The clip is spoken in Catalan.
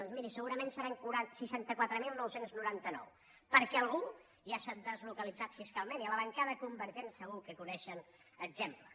doncs miri segurament seran seixanta quatre mil nou cents i noranta nou perquè algú ja s’ha deslocalitzat fiscalment i a la bancada convergent segur que en coneixen exemples